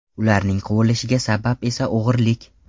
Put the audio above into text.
Ularning quvilishiga sabab esa o‘g‘irlik.